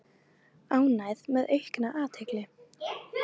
Ánægð með aukna athygli